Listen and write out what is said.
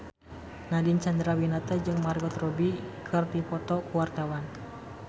Nadine Chandrawinata jeung Margot Robbie keur dipoto ku wartawan